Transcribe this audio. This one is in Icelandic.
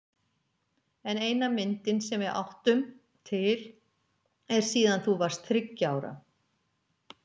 En eina myndin sem við áttum til er síðan þú varst þriggja ára.